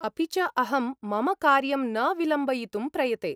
अपि च अहं मम कार्यं न विलम्बयितुं प्रयते।